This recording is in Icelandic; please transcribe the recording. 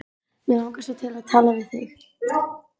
Mig langar svo til að tala við þig.